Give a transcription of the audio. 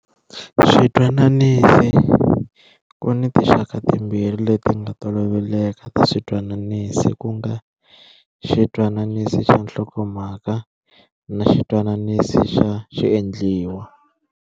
Switwananisi, ku ni tixaka timbirhi leti nga toloveleka ta switwananisi ku nga-xitwananisi xa nhlokomhaka na xitwananisi xa xiendliwa.